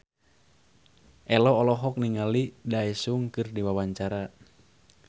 Ello olohok ningali Daesung keur diwawancara